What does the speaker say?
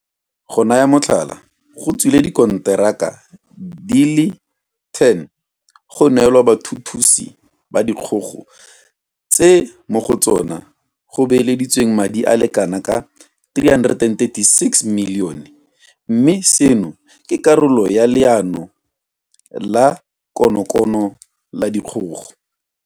Go naya motlhala, go tswile dikonteraka di le 10 go neelwa bathuthusi ba dikgogo tse mo go tsona go beeleditsweng madi a le kana ka R336 milione mme seno ke karolo ya Leano la konokono la dikgogo.